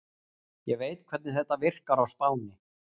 Ég veit hvernig þetta virkar á Spáni.